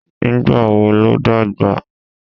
Nígbà wo ló dàgbà?